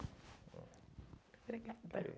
Obrigada.